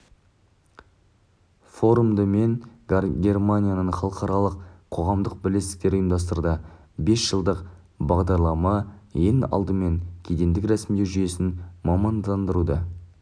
форумды пен германияның халықаралық қоғамдық бірлестіктері ұйымдастырды бес жылдық бағдарлама ең алдымен кедендік рәсімдеу жүйесін мамандандыруды